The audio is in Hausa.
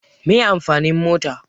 Meye amfanin mota?